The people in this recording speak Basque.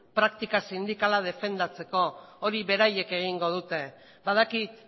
praktika sindikala defendatzeko hori beraiek egingo dute badakit